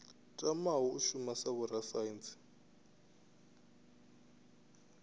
tamaho u shuma sa vhorasaintsi